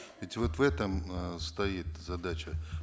ведь вот в этом э стоит задача